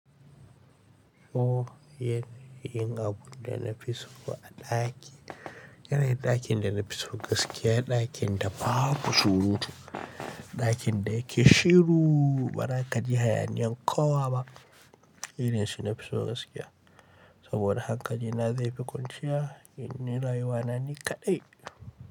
O ye yin abun da na fi so a ɗaki. Yanayin ɗakin da na fi so gaskiya, ɗakin da babu surutu, ɗakin da yake shiru ba ra kaji hayaniyan ƙowa ba. Yanayin da su nafi so gaskiya. Saboda hankali na zai fi kwanciya, inyi rayuwa na ni kaɗai.